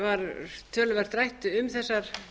var töluvert rætt um þessar